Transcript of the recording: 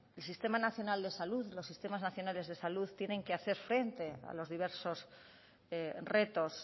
el sistema nacional de salud los sistemas nacionales de salud tienen que hacer frente a los diversos retos